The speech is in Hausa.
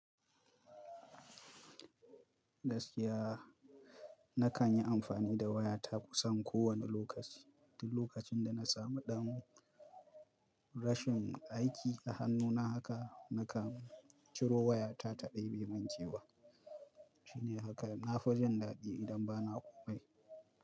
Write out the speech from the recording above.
Gaskiya na kan yi amfani da wayata kusan kowane lokaci, tun lokacin da na samu ɗan rashin aiki a hannuna haka na kan ciro wayata ta ɗebe mun kewa. Shine haka na fi jin daɗi idan ba na ƙomai.